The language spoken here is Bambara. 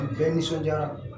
Bɛɛ nisɔndiyara